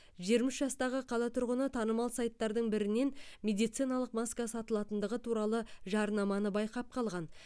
жиырма үш жастағы қала тұрғыны танымал сайттардың бірінен медициналық маска сатылатындығы туралы жарнаманы байқап қалған